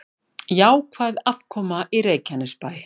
Jákvæð afkoma í Reykjanesbæ